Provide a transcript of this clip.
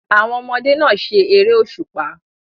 Àwọn ọmọdé náà se eré òṣùpá.